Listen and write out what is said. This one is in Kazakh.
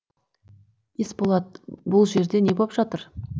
есболат бұл жерде не боп жатыр